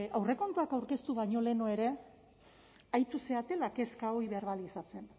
aurrekontuak aurkeztu baino lehenago ere aritu zaretela kezka hori berbalizatzen